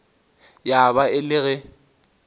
ya ba e le ge